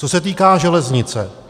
Co se týká železnice.